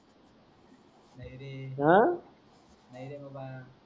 हा नय रे बाबा